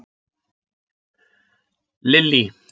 Lillý